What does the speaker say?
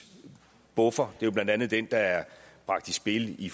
buffer det er jo blandt andet den der er bragt i spil i